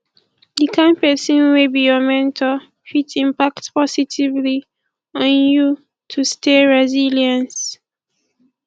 di kind pesin wey be your mentor fit impact positively on you to stay resilience